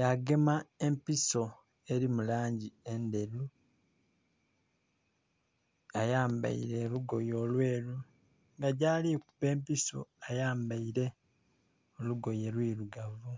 yagema empiso eri mu langi endheru, ayambaire olugoye olweru nga gwali kuba empiso ayambaire olugoye lwirugavu.